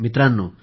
मित्रांनो